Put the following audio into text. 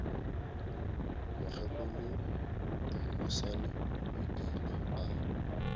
mokgekolo dunusani o ile a